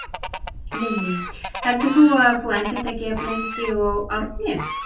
Lillý: Heldur þú að þú endist ekki jafn lengi og Árni?